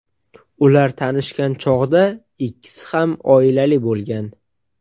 Ular tanishgan chog‘da ikkisi ham oilali bo‘lgan.